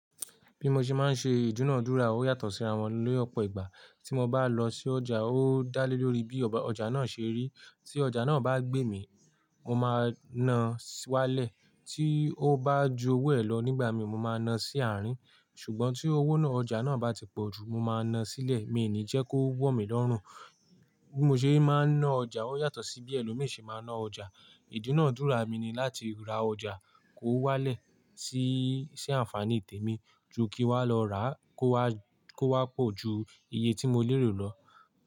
Bí mo ṣe máa ń ṣe ìdúnadúrà ó yàtọ̀ sí ra wọn lọpọ ìgbà. Tí mo bá lọ sí ọjà, ó dá lé lórí bí ọjà náà ṣe rí. Tí ọjà náà bá gbémì, mo máa na wálẹ̀. Tí ó bá ju owó ẹ lọ nígbà mí, mo máa na sí àárín. Ṣùgbọ́n tí owó náà, ọjà náà bá ti pọ̀ ju, mo máa na sílẹ̀. Mi i ní jẹ́ kó wọ̀ mí lọ́rùn. Bí mo ṣe máa ń ná ọjà ó yàtọ̀ sí bí ẹlòmí ṣe máa ná ọjà. Ìdúnadúrà mi ni láti ra ọjà kó wálẹ̀ sí, sí àǹfààní tèmi ju kí wá lọ rà á kó wá, kó wá pọ̀ ju iye tí mo lérò lọ.